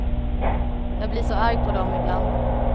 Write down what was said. Jag blir så arg på dem ibland.